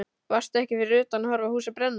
Varstu ekki fyrir utan að horfa á húsið brenna?